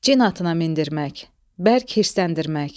Cin atına mindirmək, bərk hirsləndirmək.